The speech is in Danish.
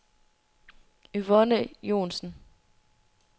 Yvonne Joensen